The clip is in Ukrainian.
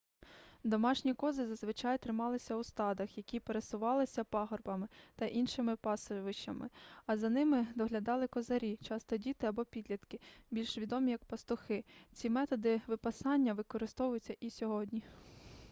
домашні кози зазвичай трималися у стадах які пересувалися пагорбами та іншими пасовищами і за ними доглядали козарі часто діти або підлітки більш відомі як пастухи ці методи випасання використовуються і сьогодні